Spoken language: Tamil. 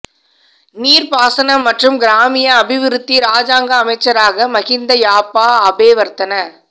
நீர்ப்பாசனம் மற்றும் கிராமிய அபிவிருத்தி இராஜாங்க அமைச்சராக மகிந்த யாப்பா அபேவர்தன